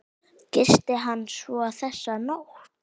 Gisti hann svo þessa nótt?